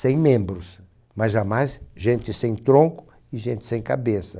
sem membros, mas jamais gente sem tronco e gente sem cabeça.